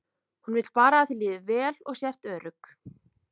Hún vill bara að þér líði vel og sért örugg.